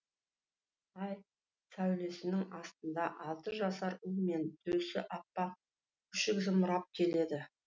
ай сәулесінің астында алты жасар ұл мен төсі аппақ күшік зымырап келеді